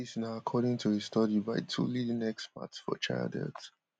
according to a study by two leading experts for child health